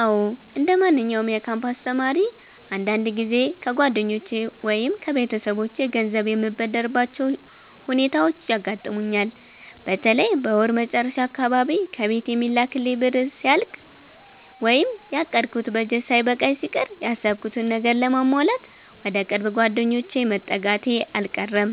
አዎ፣ እንደማንኛውም የካምፓስ ተማሪ አንዳንድ ጊዜ ከጓደኞቼ ወይም ከቤተሰቦቼ ገንዘብ የምበደርባቸው ሁኔታዎች ያጋጥሙኛል። በተለይ በወር መጨረሻ አካባቢ ከቤት የሚላክልኝ ብር ሲያልቅ ወይም ያቀድኩት በጀት ሳይበቃኝ ሲቀር፣ ያሰብኩትን ነገር ለማሟላት ወደ ቅርብ ጓደኞቼ መጠጋቴ አልቀረም።